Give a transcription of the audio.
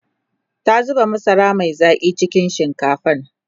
ta zuba masara Mai Zaki cikin shinkafan